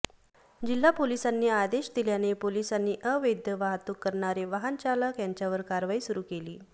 जिल्हा पोलिसांनी आदेश दिल्याने पोलिसांनी अवैद्य वाहतूक करणारे वाहनचालक यांच्यावर कारवाई सुरू केली